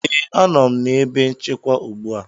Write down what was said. ee, a nọ m na ebe nchekwa ugbu a